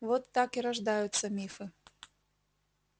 вот так и рождаются мифы